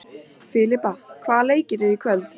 Filippa, hvaða leikir eru í kvöld?